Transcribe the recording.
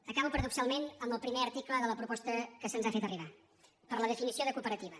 acabo paradoxalment amb el primer article de la proposta que se’ns ha fet arribar per la definició de cooperativa